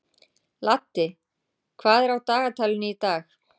Laddi, hvað er á dagatalinu í dag?